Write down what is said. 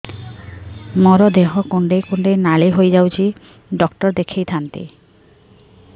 ମୋର ଦେହ କୁଣ୍ଡେଇ କୁଣ୍ଡେଇ ନାଲି ହୋଇଯାଉଛି ଡକ୍ଟର ଦେଖାଇ ଥାଆନ୍ତି